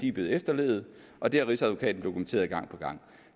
er blevet efterlevet og det har rigsadvokaten dokumenteret gang på gang